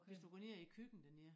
Hvis du går ned i æ køkken dernede